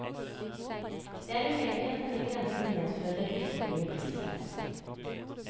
Det er uheldig at denne grensen medfører et ytterligere prispress.